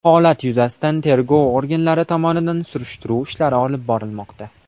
Holat yuzasidan tergov organlari tomonidan surishtiruv ishlari olib borilmoqda.